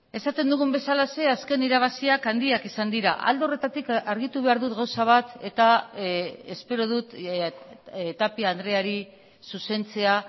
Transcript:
esaten dugun bezalaxe azken irabaziak handiak izan dira alde horretatik argitu behar dut gauza bat eta espero dut tapia andreari zuzentzea